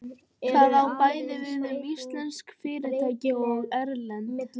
Það á bæði við um íslensk fyrirtæki og erlend.